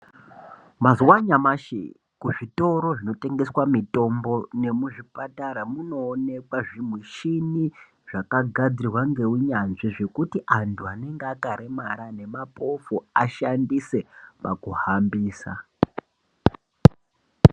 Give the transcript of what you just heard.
Mazuwa anyamashi kuzvitoro zvinotengesa mitombo memuzvipatara munoonekwa zvimushini zvakagadzirwa nenunyanzvi zvekuti antu anenge akakuwara nemapofu ashandise pakuhambisa.